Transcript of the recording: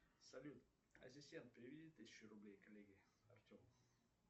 салют ассистент переведи тысячу рублей коллеге артему